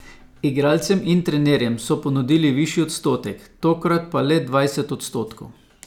Igralcem in trenerjem so ponudili višji odstotek, tokrat pa le dvajset odstotkov.